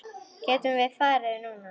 Getum við farið núna?